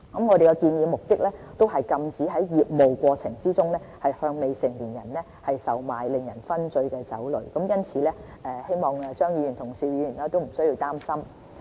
我們的目的是禁止在業務過程中，向未成年人售賣令人醺醉的酒類，因此希望張議員和邵議員不需要擔心。